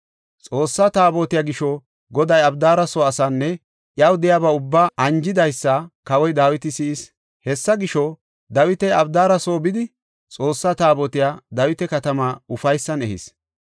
Xoossa Taabotiya gisho Goday Abidaara soo asaanne iyaw de7iya ubbaa anjidaysa kawoy Dawiti si7is. Hessa gisho, Dawiti Abidaara soo bidi, Xoossa Taabotiya Dawita Katamaa ufaysan ehis.